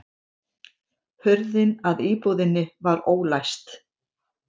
Hurðin að íbúðinni var ólæst